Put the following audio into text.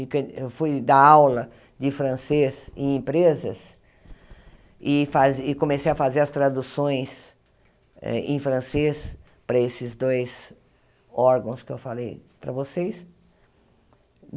Eu fui dar aula de francês em empresas e faze e comecei a fazer as traduções em francês para esses dois órgãos que eu falei para vocês.